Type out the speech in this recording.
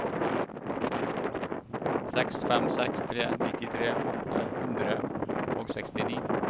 seks fem seks tre nittitre åtte hundre og sekstini